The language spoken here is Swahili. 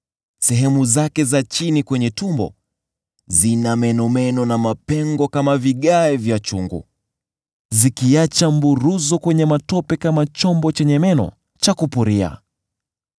Sehemu zake za chini kwenye tumbo zina menomeno na mapengo kama vigae vya chungu, zikiacha mburuzo kwenye matope kama chombo chenye meno cha kupuria.